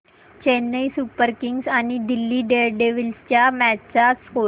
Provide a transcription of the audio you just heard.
Chennai super kings आणि Delhi daredevils च्या match चा स्कोअर